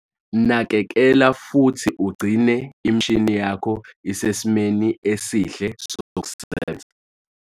Nakekela futhi ugcine imishini yakho isesimeni esihle sokusebenza.